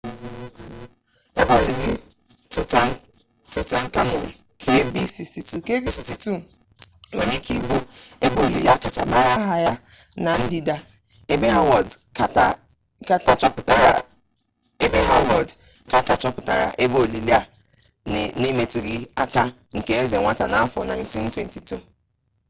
ebe olili tụtankamun kv62. kv62 nwere ike ịbụ ebe olili akacha mara aha ya na-ndịda ebe hawọd kata chọpụtara ebe olili a na emetụghị aka nke eze nwata n'afọ 1922